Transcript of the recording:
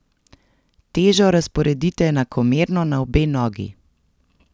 Težo razporedite enakomerno na obe nogi.